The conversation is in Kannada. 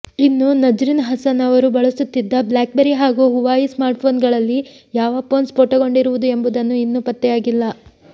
ಇನ್ನು ನಜ್ರಿನ್ ಹಸನ್ ಅವರು ಬಳಸುತ್ತಿದ್ದ ಬ್ಲಾಕ್ಬೆರಿ ಹಾಗೂ ಹುವಾಯಿ ಸ್ಮಾರ್ಟ್ಫೋನ್ಗಳಲ್ಲಿ ಯಾವ ಫೋನ್ ಸ್ಫೋಟಗೊಂಡಿರುವುದು ಎಂಬುದು ಇನ್ನೂ ಪತ್ತೆಯಾಗಿಲ್ಲ